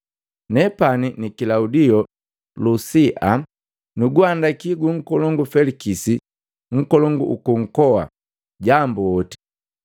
“Nepani na Kilaudio Lusia nuguhandaki gu nkolongu Felikisi nkolongu uku nkoa, jambu hooti!”